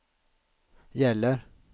gäller